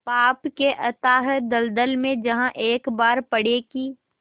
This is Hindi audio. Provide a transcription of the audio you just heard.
पाप के अथाह दलदल में जहाँ एक बार पड़े कि